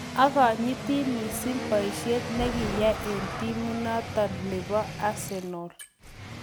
Akanyiti missing'poishet nekiyai eng timit notok nebo Arsenal